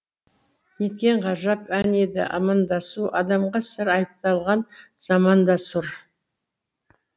неткен ғажап ән еді амандасу адамға сыр айталған заманда сұр